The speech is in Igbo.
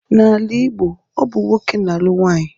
N'ala Igbo ọ bụ nwoke na-alụ nwanyị.